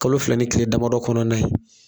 Kalo fila ni kile damadɔ kɔnɔna ye